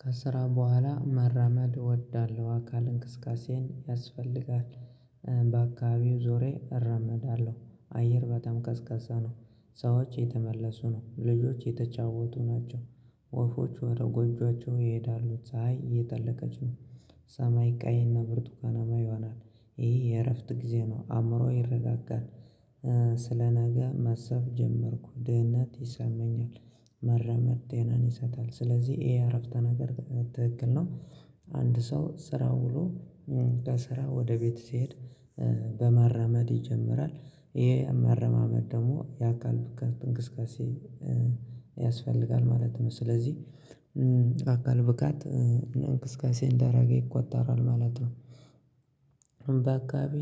ከስራ በኋላ መራመድ እወዳለሁ አካል እንቅስቃሴን ያስፈልጋል በአካባቢው ዞሬ እራመዳለሁ አየር በጣም ቀዝቃዛ ነው። ሰዎች እየተመለሱ ነው ልጆች የተጫወቱ ናቸው። ወፎች ወደ ጎጆአቸው ይሄዳሉ ፀይ የጠለቀች ነው። ሰማይ ቀይና ብርቱካናማ ይሆናል ይሄ የእረፍት ጊዜ ነው አእምሮዬ ይረጋጋል። ስለነገ ማሰብ ጀመርኩ ድህነት ይሰማኛል። መራመድ ጤናን ይሰጣል ስለዚህ ይሄ አረፍተ ነገር ትክክል ነው። አንድ ሰው ስራ ውሎ ከስራ ወደ ቤቱ ሲሄድ በመራመድ ይጀምራል። ይሄ መረማመድ ደግሞ የአካል ብቃት እንግስጋሴ ያስፈልጋል ማለት ነው። ስለዚህ አካል ብቃት እና እንቅስቃሴ እንዳደረገ ይቆጠራል ማለት ነው። በአካባቢ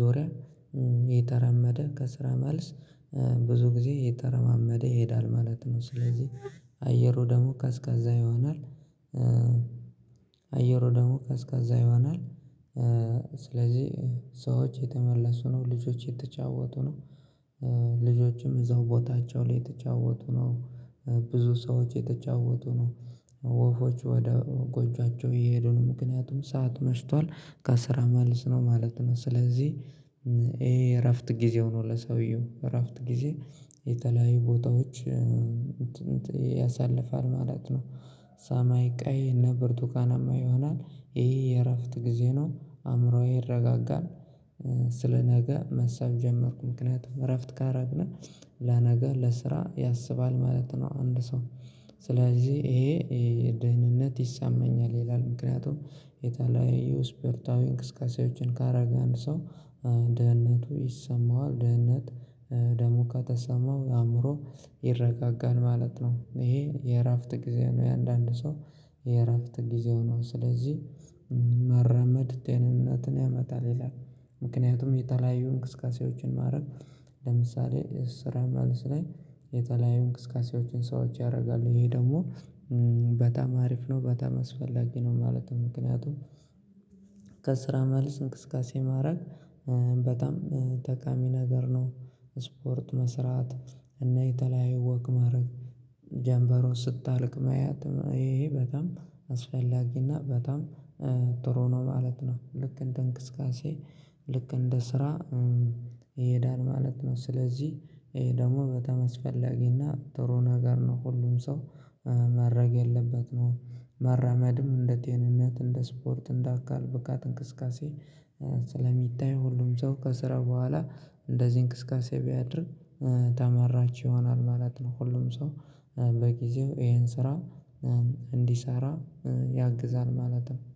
ዙሪያ የተራመደ ከስራ መልስ ብዙ ጊዜ የተረማመደ ይሄዳል ማለት ነው። ስለዚህ አየሩ ደግሞ ቀዝቃዛ ይሆናል። አየሩ ደግሞ ከቀዝቃዛ ይሆናል። ስለዚህ ሰዎች የተመለሱ ነው ልጆች የተጫወቱ ነው። ልጆችም እዛው ቦታቸው ላይ የተጫወቱ ነው። ብዙ ሰዎች የተጫወቱ ነው። ወፎች ወደ ጎጆአቸው እየሄዱ ነው ምክንያቱም ሰዓት መሽቷል። ከስራ መልስ ነው ማለት ነው። ስለዚህ ይሄ እረፍት ጊዜ ሆኖ ለሰውየው እረፍት ጊዜ የተለያዩ ቦታዎች ያሳልፋል ማለት ነው። ሰማይ ቀይ እና ብርቱካናማ ይሆናል ይሄ የእረፍት ጊዜ ነው አእምሮዬ ይረጋጋል። ስለ ነገ መሳብ ጀመርኩ ምክንያቱም እረፍት ካደረግነ ለነገ ለስራ ያስባል ማለት ነው። አንድ ሰው ስለዚህ ይሄ ደህንነት ይሳመኛል ይላል ምክንያቱም የተለያዩ ስፖርታዊ እንቅስቃሴዎችን ካደረገ አንድ ሰው ደህንነቱ ይሰማዋል። ደህንነት ደሞካ ተሰማው የአእምሮ ይረጋጋን ማለት ነው። ይሄ የእራፍት ጊዜ ነው። የአንዳንድ ሰው የእራፍት ጊዜው ነው ስለዚህ መረመድ ጤንነትን ያመጣል ይላል። ምክንያቱም የተለያዩ እንቅስቃሴዎችን ማድረግ ለምሳሌ ስራ ማነስ ላይ የተለያዩ እንቅስቃሴዎችን ሰዎች ያደርጋሉ ይሄ ደግሞ በጣም አሪፍ ነው። በጣም አስፈላጊ ነው ማለትም ምክንያቱም ከስራ መልስ እንቅስቃሴ ማድረግ በጣም ጠቃሚ ነገር ነው። ስፖርት መስራት እና የተለያየ ወክ ማድረግ ጀምበሯን ስታልቅ ማየት ይሄ ይሄ በጣም አስፈላጊና በጣም ጥሩ ነው ማለት ነው። ልክ እንደ እንቅስቃሴ ልክ እንደ ስራ ይሄዳል ማለት ነው። ስለዚህ ይሄ ደግሞ በተመስፈለጊና ጥሩ ነገር ነው ሁሉም ሰው ማድረግ ያለበት ነው። መራመድም እንደ ጤንነት እንደ ስፖርት እንደ አካል ብቃት እንቅስቃሴ ስለሚታይ ሁሉም ሰው ከስራ በኋላ እንደዚህ እንቅስቃሴ ቢያድርግ ተመራጭ ይሆናል ማለት ነው። ሁሉም ሰው በጊዜው ይሄን ስራ እንዲሰራ ያግዛል ማለት ነው